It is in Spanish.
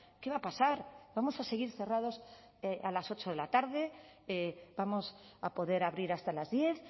qué va a pasar vamos a seguir cerrados a las ocho de la tarde vamos a poder abrir hasta las diez